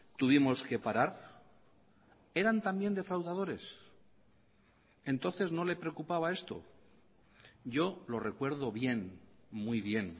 tuvimos que parar eran también defraudadores entonces no le preocupaba esto yo lo recuerdo bien muy bien